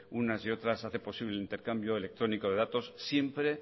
unas y otras hace posible el intercambio electrónico de datos siempre